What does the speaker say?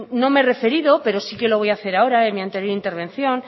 no me he referido pero sí que lo voy a hacer ahora en mi anterior intervención